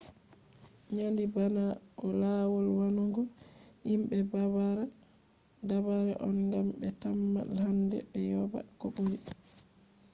nandi bana lawol wannugo himbe dabare on gam be tamma hande be yoba ko buri